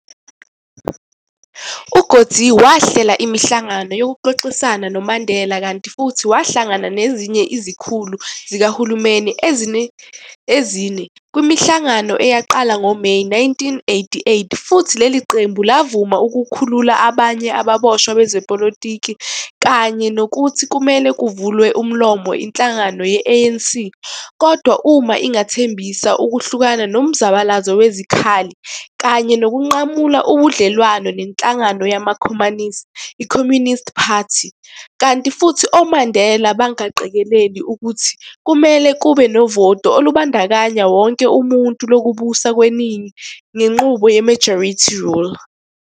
UCoetsee, wahlela imihlangano yokuxoxisana noMandela, kanti futhi wahlangana nezinye izikhulu zikahulumeni ezine, kwimihlangano eyaqala ngoMeyi 1988, futhi leli qembu lavuma ukukhulula abanye ababoshwa bezepolitiki kanye nokuthi kumele kuvulwe umlomo inhlangano ye-ANC kodwa uma ingathembisa ukuhlukana nomzabalazo wezikhali kanye nokunqamula ubudlelwane nenhlangano yamakhomanisi, iCommunist Party, kanti futhi oMandela bangaqikeleli ukuthi kumele kube novoto olubandakanya wonke umuntu lokubusa kweningi ngenqubo ye-majority rule.